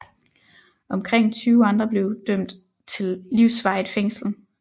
Omkring 20 andre blev dømt til livsvarigt fængsel